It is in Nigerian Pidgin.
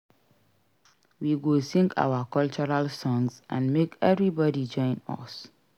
We go sing our cultural songs and make everybody join us.